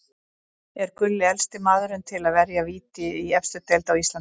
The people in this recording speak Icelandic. Er Gulli elsti maðurinn til að verja víti í efstu deild á Íslandi?